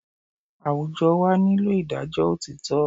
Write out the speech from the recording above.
Àwùjọ wa nílò ìdájọ́ òtítọ́